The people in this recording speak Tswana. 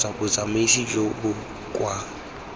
kgotsa botsamaisi jo bo kwa